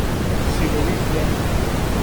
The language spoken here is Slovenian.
Silovit je.